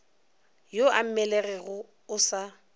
yo a mmelegego o sa